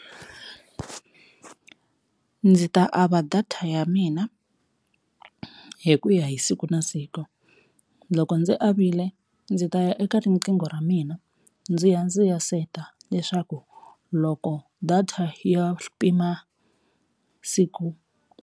Ndzi ta ava data ya mina hi ku ya hi siku na siku loko, ndzi avile ndzi ta ya eka riqingho ra mina ndzi ya ndzi ya seta leswaku loko data ya pima siku.